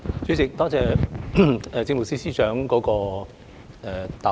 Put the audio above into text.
主席，多謝政務司司長的答覆。